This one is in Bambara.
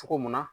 Cogo mun na